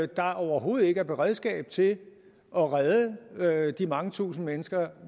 der overhovedet ikke er beredskab til at redde de mange tusinde mennesker